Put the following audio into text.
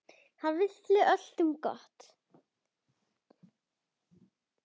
Hann vildi öllum gott.